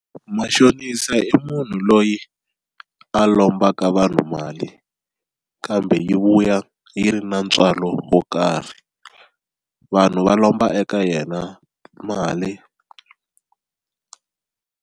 Mashonisa i munhu loyi a lombaka vanhu mali kambe yi vuya yi ri na ntswalo wo karhi vanhu va lomba eka yena mali.